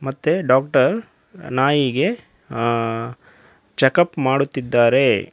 ಮತ್ತೆ ಡಾಕ್ಟರ್ ನಾಯಿಗೆ ಆ ಚೆಕ್ ಅಪ್ ಮಾಡುತ್ತಿದ್ದಾರೆ.